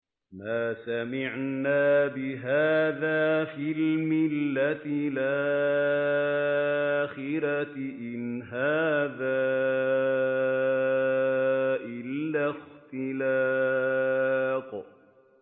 مَا سَمِعْنَا بِهَٰذَا فِي الْمِلَّةِ الْآخِرَةِ إِنْ هَٰذَا إِلَّا اخْتِلَاقٌ